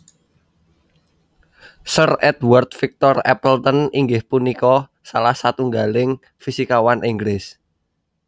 Sir Edward Victor Appleton inggih punika salah satunggaling fisikawan Inggris